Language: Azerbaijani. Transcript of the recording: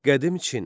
Qədim Çin.